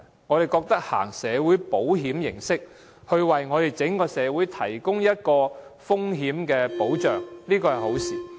我們以社會保險的形式，為整個社會提供風險保障，這是好事。